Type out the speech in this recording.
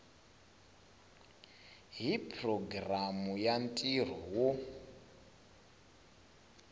hi programu ya ntirho wo